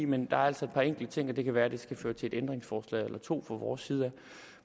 men der er altså et par enkelte ting og det kan være at det skal føre til et ændringsforslag eller to fra vores side af